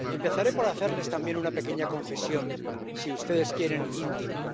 Empezaré por hacerles también una pequeña confesión —si ustedes quieren, íntima—.